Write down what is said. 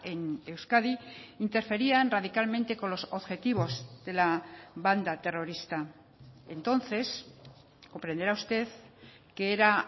en euskadi interferían radicalmente con los objetivos de la banda terrorista entonces comprenderá usted que era